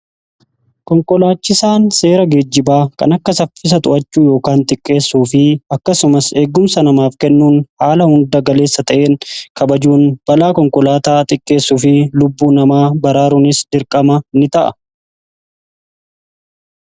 konkolaachisaan seera geejibaa kan akka saffisaa to'achuu yookaan xiqqeessuu fi akkasumas eegumsa namaaf kennuun haala hunda galeessa ta'een kabajuun balaa konkolaataa xiqqeessuu fi lubbuu namaa baraaruunis dirqama ni ta'a.